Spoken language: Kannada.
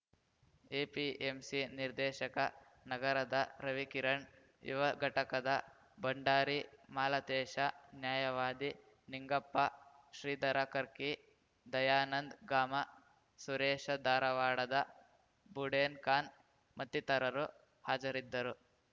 ಎಪಿಎಂಸಿ ನಿರ್ದೇಶಕ ನಗರದ ರವಿಕಿರಣ್‌ ಯುವ ಘಟಕದ ಭಂಡಾರಿ ಮಾಲತೇಶ ನ್ಯಾಯವಾದಿ ನಿಂಗಪ್ಪ ಶ್ರೀಧರ ಕರ್ಕಿ ದಯಾನಂದ್‌ ಗಾಮ ಸುರೇಶ ಧಾರವಾಡದ ಬುಡೇನ್‌ಖಾನ್‌ ಮತ್ತಿತರರು ಹಾಜರಿದ್ದರು